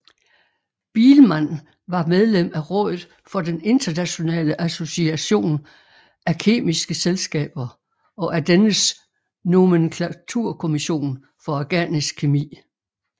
Biilmann var medlem af rådet for den internationale association af kemiske selskaber og af dennes nomenklaturkommission for organisk kemi